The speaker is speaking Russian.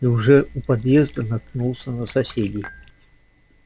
и уже у подъезда наткнулся на соседей